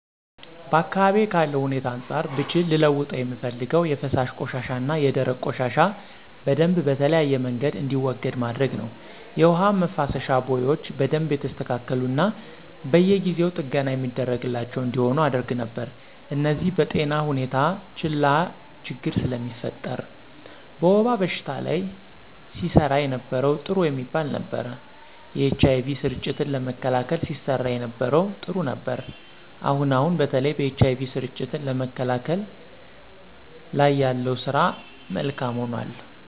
በአካባቢዬ ካለው ሁኔታ አንፃር ብችል ልለውጠው የምፈልገው የፈሳሽ ቆሻሻና የደረቅ ቆሻሻ በደምብ በተለያየ መንገድ እንዲወገድ ማድረግ ነው። የውሃ መፋሰሻ ቦዮች በደንብ የተስተካሉና በየጊው ጥገና የሚደረግላቸው እንዲሆኑ አደረግ ነበር። እነዚህ በጤና ሁኔታ ላች ችግር ስለሚፈጥር። በወባ በሽታ ላይ ሲሰራ የነበረው ጥሩ የሚባል ነበር። የኤች አይ ቪ ስርጭትን ለመከላከል ሲሰራ የነበረው ጥሩ ነበር። አሁን አሁን በተለይ በኤች አይ ቪ ስርጭትን ለመከላከል ላይ ያለው ስራ ካም ሆኖል።